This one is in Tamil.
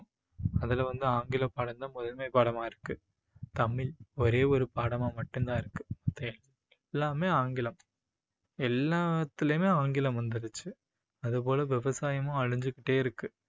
அதுல வந்து ஆங்கில பாடம் தான் முதன்மை பாடமா இருக்கு. தமிழ் ஒரே ஒரு பாடமா மட்டும் தான் இருக்கு. எல்லாமே ஆங்கிலம். எல்லாத்துலயுமே ஆங்கிலம் வந்துருச்சு. அது போல விவசாயமும் அழிஞ்சுக்கிட்டே இருக்கு